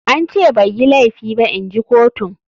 An ce bai yi laifi ba inji kotun.